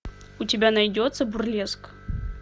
у тебя найдется бурлеск